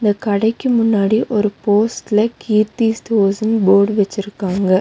இந்த கடைக்கு முன்னாடி ஒரு போஸ்ட்லே கீர்த்தி ஸ்டோர்ஸ்னு போர்டு வெச்சிருக்காங்க.